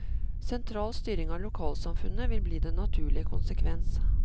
Sentral styring av lokalsamfunnet vil bli den naturlige konsekvens.